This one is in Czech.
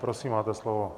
Prosím, máte slovo.